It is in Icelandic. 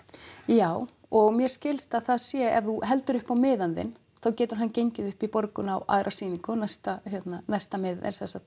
já og mér skilst að það sé ef þú heldur upp á miðann þinn þá getur hann gengið upp í borgun á aðra sýningu